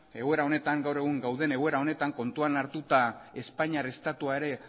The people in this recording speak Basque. egoera honetan gaur egun gauden egoera honetan kontuan hartua espainiar estatua ere